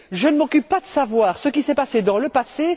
Je ne m'occupe pas de savoir ce qui s'est produit dans le passé.